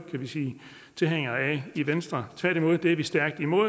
tilhængere af i venstre tværtimod er vi stærkt imod